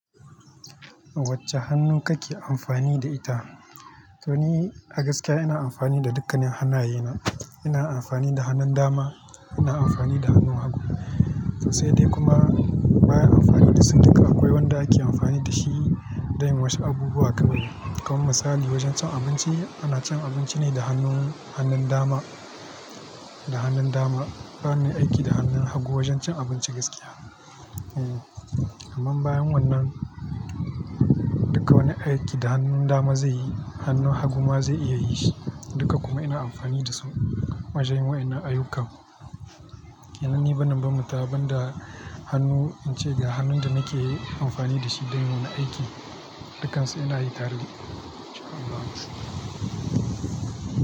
Wacce hannu kake amfani da ita? To ni a gaskiya ina amfani da dukkan hannayena. Ina amfani da hannun dama, ina amfani da hannun hagu. To sai dai kuma bayan amfani da su duka akwai wanda ake amfani da shi don wasu abubuwa kaɗai. Kamar misali wajen cin abinci ana cin abinci ne da hannun, hannun dama. Da hannun dama. Bana yin aiki da hannun hagu wajen cin abinci gaskiya. Eh. Amma bayan wannan, duka wani aiki da hannun dama zai yi hannun hagu ma zai iya yin shi. Duka kuma ina amfani da su. Wa janyin wannan ayyuka. Domin ni banin ban mata ban da hannu in ce ga hannun da nake amfani da shi don wani aiki, dukkan su ina yi tare. Allah ya sa.